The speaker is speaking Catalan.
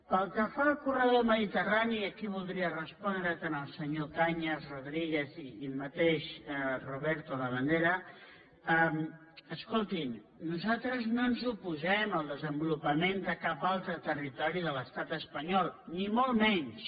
pel que fa al corredor mediterrani aquí voldria respondre tant als senyors cañas rodríguez com al mateix roberto labandera escoltin nosaltres no ens oposem al desenvolupament de cap altre territori de l’estat espanyol ni molt menys